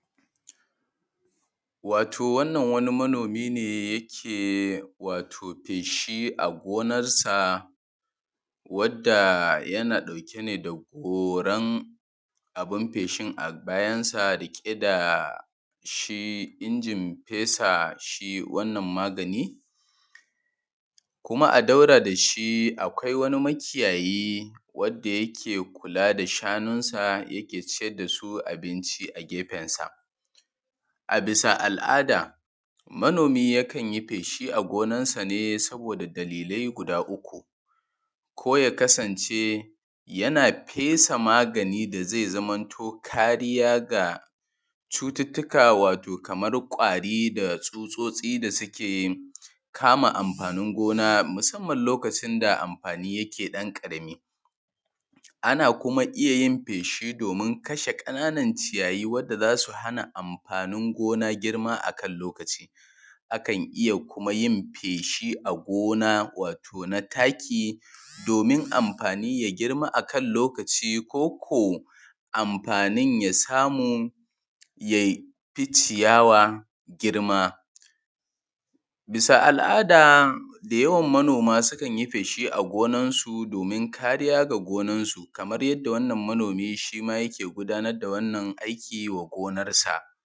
wato wannan wani manomi ne yake wato feshi a gonarsa wadda yana ɗauke ne da goran abun feshin a bayansa riƙe da shi injin fesa shi wannan magani kuma a daura da shi akwai wani makiyayi wadda ke kula da shanunsa yake ciyar da su abinci a gefensa a bisa al’ada manomi yakan yi feshi a gonarsa ne saboda da dalilai guda uku ko ya kasance yana fesa magani da zai zamanto kariya ga cututtukan wato kaman ƙwari da tsutsotsi da suke kama amfanin gona musamman lokacin da amfanin yake ɗan ƙarami ana kuma iya yin feshi domin kashe ƙananan ciyayi wanda za su hana amfanin gona girma a kan lokaci a kan iya kuma yin feshi a gona wato na taki domin amfani ya girma a kan lokaci ko ko amfanin ya samu ya fi ciyawa girma bisa al’ada da yawan manoma sukan yi feshi a gonarsu domin kariya ga gonarsu kamar yadda wannan manomi shima yake gudanar da wannan aiki wa gonarsa